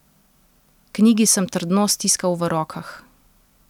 Knjigi sem trdno stiskal v rokah.